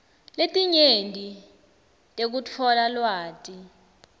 letinyenti tekutfola lwati